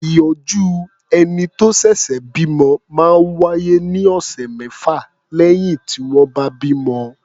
Ìọ́jú ẹni tó ṣẹ̀ṣẹ̀ bímọ máa ń wá́yé ní ọ̀sẹ̀ mẹ́fà lẹ́yìn tí wọ́n bá bímọ.